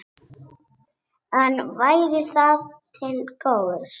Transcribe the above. En væri það til góðs?